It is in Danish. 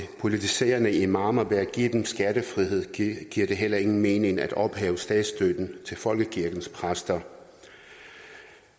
politiserende imamer ved at give dem skattefrihed giver det heller ingen mening at ophæve statsstøtten til folkekirkens præster